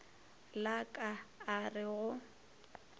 la ka a re go